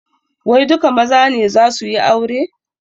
Wai duka maza ne zasu yi aure?